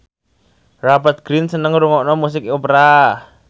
Rupert Grin seneng ngrungokne musik opera